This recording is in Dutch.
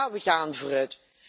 Ja, we gaan vooruit.